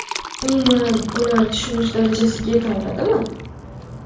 Umuman, ular tushunish darajasiga yeta oladimi?